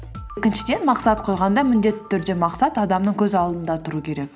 мақсат қойғанда міндетті түрде мақсат адамның көз алдында тұру керек